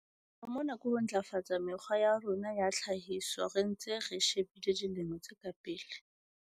Sepheo mona ke ho ntlafatsa mekgwa ya rona ya tlhahiso re ntse re shebile dilemo tse ka pele.